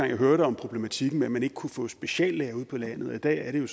jeg hørte om problematikken med at man ikke kunne få speciallæger ude på landet men i dag er det jo